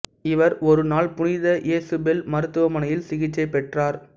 இவர் ஒரு நாள் புனித இசபெல் மருத்துவமனையில் சிகிச்சை பெற்றார்